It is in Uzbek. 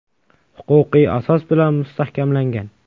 Huquqiy asos bilan mustahkamlangan .